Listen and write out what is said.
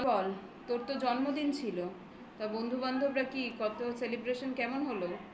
আর তোমাদেরও তো রয়েছে. বল. তোর তো জন্মদিন ছিল বন্ধু বান্ধবরা কি কত celebration কেমন হলো?